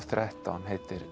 þrettán heitir